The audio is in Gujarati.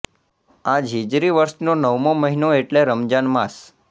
આ જ હિજરી વર્ષનો નવમો મહિનો એટલે રમઝાન માસ